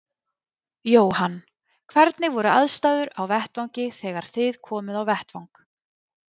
Jóhann: Hvernig voru aðstæður á vettvangi þegar þið komuð á vettvang?